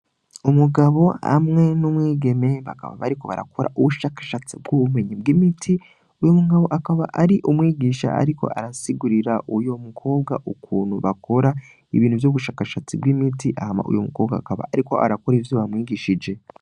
Umugabo amwe n'umwigeme bakaba bariko barakora ubushakashatsi bw'ubumenyi bw'imiti uyu mugabo akaba ari umwigisha, ariko arasigurira uyo mukobwa ukuntu bakora ibintu vy'ubushakashatsi bw'imiti ahama uyu mukobwa akaba, ariko arakora ivyo bamwigishije.